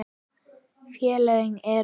Félögin eru